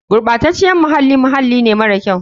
Gurɓaceciyar muhalli muhalli ne mara kyau.